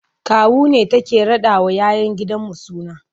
Kawu ne take raɗawa 'ya 'yan gidanmu suna.